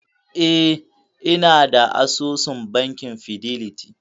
E, inada asusun bankin fidelity.